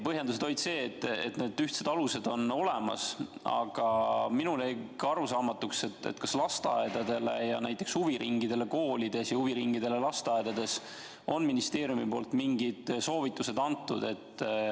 Vastuseks põhjendati, et need ühtsed alused on olemas, aga minule jäi arusaamatuks, kas lasteaedadele ja näiteks huviringidele koolides ja huviringidele lasteaedades on ministeeriumist mingid soovitused antud.